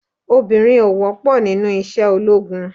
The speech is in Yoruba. Obìnrin ò wọ́pọ̀ nínú iṣẹ́ ológun.